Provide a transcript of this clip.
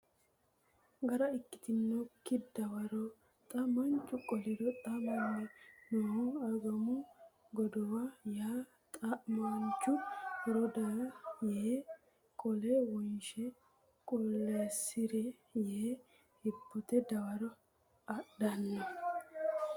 gara ikkitinokki dawaro xa maanchu qoliro Xa manni noohu Agummo godowa ya xa mamaanchu Horro daga ya yee qole wonshe qulleessi re yee hibbote dawaro adhanno !